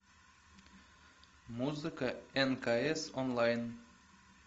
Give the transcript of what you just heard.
музыка нкс онлайн